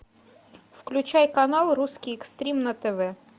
включай канал русский экстрим на тв